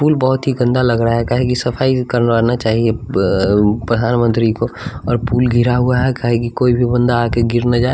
पुल बहोत ही गंदा लग रहा है काहे कि सफाई करवाना चाहिए अ प्रधानमंत्री को और पुल घिरा हुआ है काहे की कोई भी बंदा आके गिर न जाए।